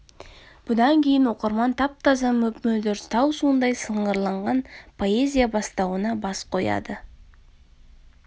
бұдан кейін оқырман тап-таза мөп-мөлдір тау суындай сынғырланған поэзия бастауына бас қояды